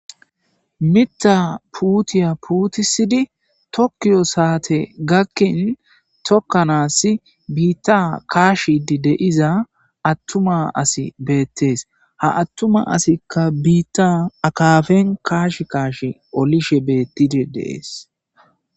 Mitta puutiya puutisidi tokkiyo saate gakkin tokkanaasi biitta kaashidi de'iza attuma asi beettees ha attuma asikka biitta akaafen kaash kaash olishe beettide de'es.